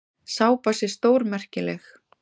Sápa sé stórmerkileg.